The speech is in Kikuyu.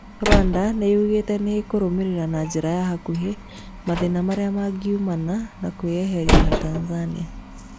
Rwanda yugĩte nĩkũrũmĩrĩra na njĩra ya hakuhĩ mathĩna marĩa mangiumana na kwĩeherĩa na Tanzania.